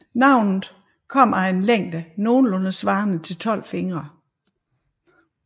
Navnet kommer af at længden nogenlunde svarer til 12 fingre